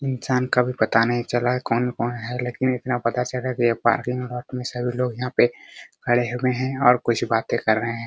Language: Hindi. इंसान का भी पता नही चल रहा है कौन-कौन है लेकिन इतना पता चल रहा है की यहाँ पार्किंग में सभी लोग यहाँ पे खड़े हुए है और कुछ बातें कर रहे है ।